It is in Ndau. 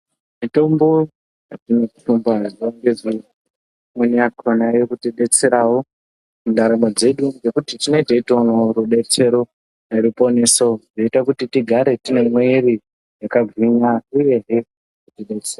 Mitombo yatinothumba zuwa ngezuwa, imweni yakhona iri kutidetserawo mundaramo dzedu ngekuti tinenge teitoonawo rudetsero, ruponiso, zvinoita kuti tigare tine mwiiri yakagwinya uyehe....